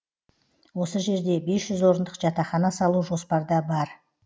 осы жерде бес жүз орындық жатақхана салу жоспарда бар